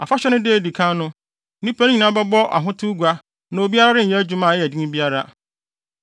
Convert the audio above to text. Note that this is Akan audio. Afahyɛ no da a edi kan no, nnipa no nyinaa bɛbɔ ahotew gua na obiara renyɛ adwuma a ɛyɛ den biara.